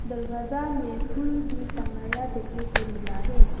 दरवाजा में फूल भी टंगाया देखने को मिला है।